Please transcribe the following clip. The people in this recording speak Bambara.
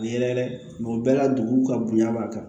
Yɛlɛ o bɛɛ la dugu ka bonya b'a kan